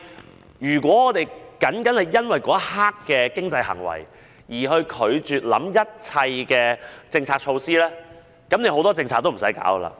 但如果我們單單因為那一刻的經濟行為而拒絕考慮一切政策措施，其實有很多政策也無須推行。